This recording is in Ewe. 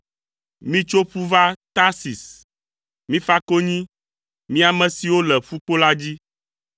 Mitso ƒu va Tarsis; mifa konyi, mi ame siwo le ƒukpo la dzi.